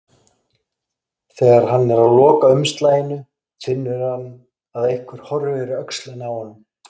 Þegar hann er að loka umslaginu finnur hann að einhver horfir yfir öxlina á honum.